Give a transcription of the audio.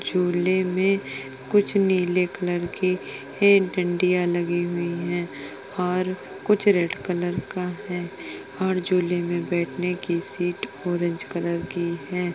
झूले में कुछ नीले कलर की एक डांडियाँ लगी हुई हैं और कुछ रेड कलर का है और झूले में बैठने की सीट ऑरेंज कलर की है।